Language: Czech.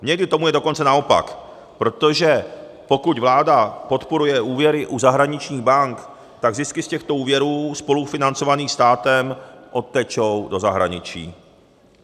Někdy tomu je dokonce naopak, protože pokud vláda podporuje úvěry u zahraničních bank, tak zisky z těchto úvěrů spolufinancovaných státem odtečou do zahraničí.